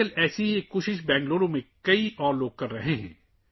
آج کل، بہت سے لوگ بنگلورو میں اسی طرح کی کوشش کر رہے ہیں